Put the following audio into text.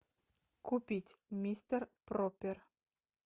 купить мистер пропер